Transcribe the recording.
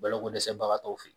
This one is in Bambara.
Balako dɛsɛbagatɔw fɛ yen